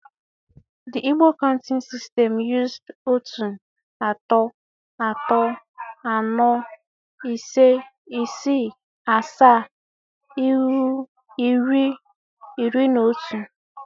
. The Igbo counting system used otu, atọ, atọ, aanọ, ise, isii, asaa, ịnwụ, iri, iri na otu